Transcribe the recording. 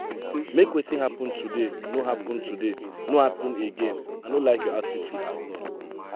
make wetin happen today no happen today no happen again i no like your attitude at all.